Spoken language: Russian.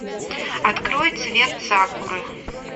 открой цвет сакуры